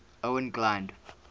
owain glynd